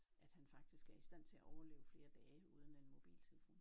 At han faktisk er i stand til at overleve flere dage uden en mobiltelefon